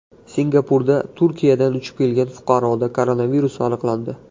Singapurda Turkiyadan uchib kelgan fuqaroda koronavirus aniqlandi.